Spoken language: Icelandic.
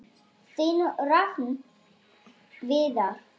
Þinn Rafn Viðar.